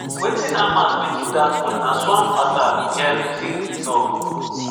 "wetin hamas bin do dat morning na swarm attack" gen ziv tok.